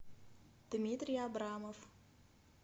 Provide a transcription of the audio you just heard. дмитрий абрамов